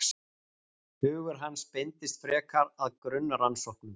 Hugur hans beindist frekar að grunnrannsóknum.